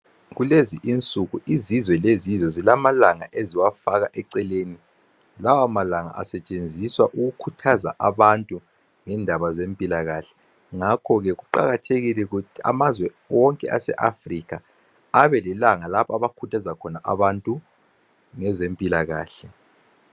Kulezi insuku izizwe ngezizwe zilamalanga eziwafaka eceleni . Lawamalanga asetshenziswa ukukhuthaza abantu ngezempilakahle. Ngakho ke kuqakathekile ukuthi amazwe wonke aseAfrika abelamalanga lapho akhuthaza khona abantu ngezempilakahle.